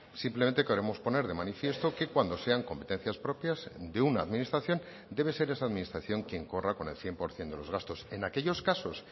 simplemente queremos poner de manifiesto que cuando sean competencias propias de una administración debe ser esa administración quien corra con el cien por ciento de los gastos en aquellos casos